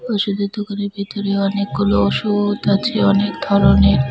ওষুধের দোকানের ভিতরে অনেকগুলো ওষুধ আছে অনেক ধরনের।